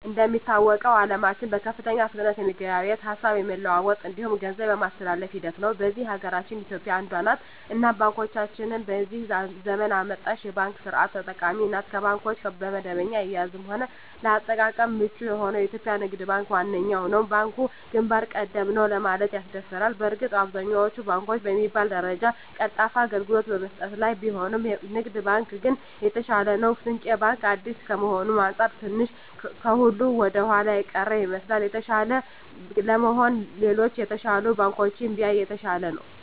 እንደሚታወቀዉ አለማችን በከፍተኛ ፍጥነት የመገበያየት፣ ሀሳብ የመለዋወጥ እንዲሁም ገንዘብ የማስተላፍ ሂደት ላይ ነዉ። በዚህ ሀገራችን ኢትዮጵያ አንዷ ነት እናም ባንኮቻችንም የዚህ ዘመን አመጣሽ የባንክ ስርት ተጠቃሚ ናት ከባንኮች በደንበኛ አያያዝም ሆነ ለአጠቃቀም ምቹ የሆነዉ የኢትዮጵያ ንግድ ባንክ ዋነኛዉ ነዉ። ባንኩ ግንባር ቀደም ነዉ ለማለትም ያስደፍራል በእርግጥ አብዛኛወቹ ባንኮች በሚባል ደረጃ ቀልጣፋ አገልግሎት በመስጠት ላይ ቢሆኑም ንግድ ባንክ ግን የተሻለ ነዉ። ስንቄ ባንክ አዲስ ከመሆኑ አንፃር ትንሽ ከሁሉ ወደኋላ የቀረ ይመስላል። የተሻለ ለመሆን ሌሎች የተሻሉ ባንኮችን ቢያይ የተሻለ ነዉ።